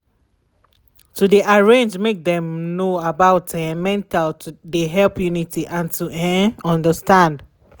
to de arrange make dem know about um mental de help unity and to um understand.